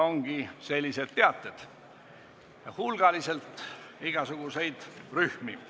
Sellised teated ongi, asutatakse hulgaliselt igasuguseid rühmi.